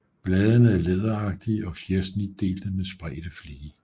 Bladene er læderagtige og fjersnitdelte med spredte flige